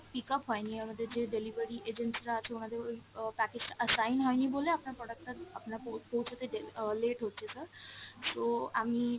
pickup হয়নি আমাদের যে delivery agency রা আছে ওনাদের ওই আহ package টা assign হয়নি বলে আপনার product টা আপনার পৌঁ~পৌঁছাতে দে~ আহ late হচ্ছে sir। so আমি